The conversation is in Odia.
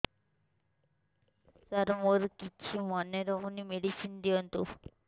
ସାର ମୋର କିଛି ମନେ ରହୁନି ମେଡିସିନ ଦିଅନ୍ତୁ